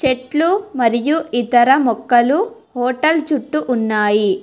చెట్లు మరియు ఇతర మొక్కలు హోటల్ చుట్టూ ఉన్నాయి.